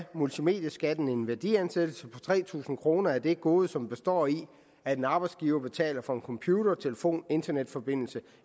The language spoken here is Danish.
multimedieskatten en værdiansættelse på tre tusind kroner af det gode som består i at en arbejdsgiver betaler for en computer telefon internetforbindelse